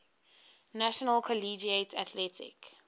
national collegiate athletic